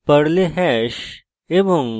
পর্লে hash এবং